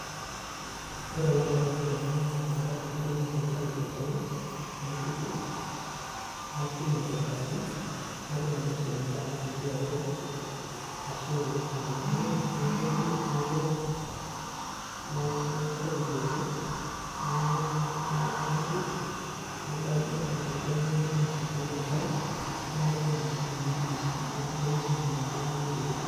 Ore ele antererai tenanya ele matundai naa kaitayu tolchani, naituku, nakiny aitobiraki, natum ainoso ina daa natii atwa arashu adung'u ake naitayu, naiko naitayu ake, naituku, nadanyu ina are enye namuku tiatwa enkare naok enaa enaa siininye juice amu enkoitoi siininye ina naaidim ainosa